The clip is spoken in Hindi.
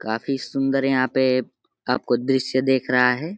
काफी सुंदर यहाँ पे आपको दृश्य देख रहा है।